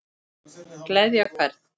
Gleðja hvern?